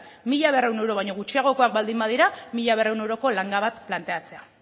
mila berrehun euro baino gutxiagokoak baldin badira mila berrehun euroko langa bat planteatzea